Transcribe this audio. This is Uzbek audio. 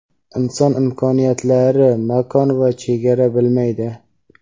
inson imkoniyatlari makon va chegara bilmaydi.